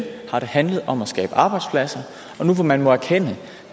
har det handlet om at skabe arbejdspladser og nu hvor man må erkende